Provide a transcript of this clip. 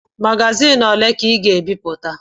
Magazin ole ka Ị ga-ebipụta?